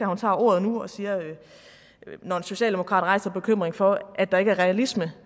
hun tager ordet når en socialdemokrat rejser en bekymring for at der ikke er realisme